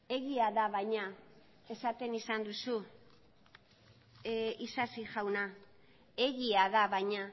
egia da baina esaten izan duzu isasi jauna egia da baina